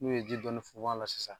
N'u ye ji dɔɔni funfun a la sisan